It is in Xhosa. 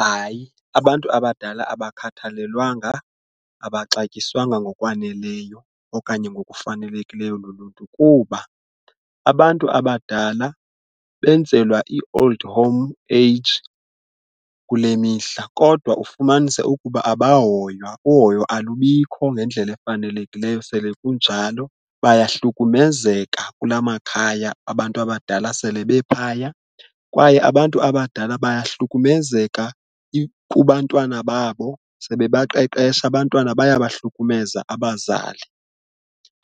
Hayi, abantu abadala abakhathalelwanga, abaxatyiswanga ngokwaneleyo okanye ngokufanelekileyo luluntu kuba abantu abadala benzelwa ii-old home age kule mihla kodwa ufumanise ukuba abahoywa, uhoyo alubikho ngendlela efanelekileyo sele kunjalo bayahlukumezeka kula makhaya abantu abadala sele bephaya. Kwaye abantu abadala bayahlukumezeka kubantwana babo sebebaqeqesha abantwana bayabahlukumeza abazali.